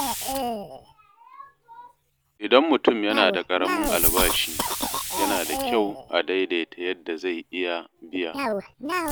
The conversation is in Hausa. Idan mutum yana da ƙaramin albashi, yana da kyau a daidaita yadda zai iya biya.